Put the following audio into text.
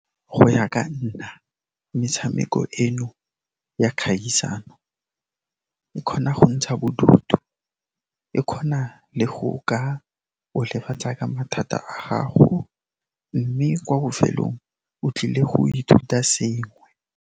Go ya ka nna, metshameko eno ya kgaisano e kgona go ntsha bodutu, e kgona le go ka go lebatsa ka mathata a gago, mme kwa bofelong o tlile go ithuta sengwe.